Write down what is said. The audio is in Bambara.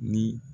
Ni